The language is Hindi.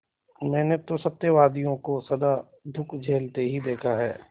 मैंने तो सत्यवादियों को सदा दुःख झेलते ही देखा है